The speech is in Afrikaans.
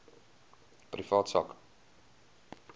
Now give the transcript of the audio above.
privaat sak